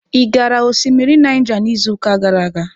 Ị gara osimiri Naija n'izuụka gara aga?